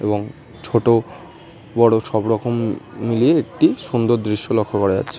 এবং ছোট বড়ো সবরকম মিলিয়ে একটি সুন্দর দৃশ্য লক্ষ্য করা যাচ্ছে।